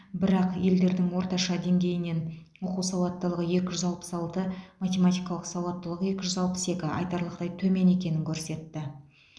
бірақ елдерінің орташа деңгейінен оқу сауаттылығы екі жүз алпыс алты математикалық сауаттылық екі жүз алпыс екі айтарлықтай төмен екенін көрсетті